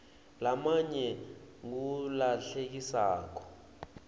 lamanye ngulahlekisako